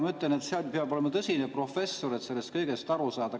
Ma ütlen, et peab olema tõsine professor, et sellest aru saada.